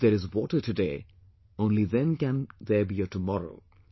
If there is water today, only then can there be a tomorrow